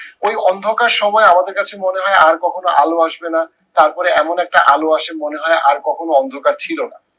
ওই অন্ধকার সময় আমাদের কাছে মনে হয় আর কখনো আলো আসবে না তারপরে এমন একটা আলো আসে মনে হয় আর কখনো অন্ধকার ছিল না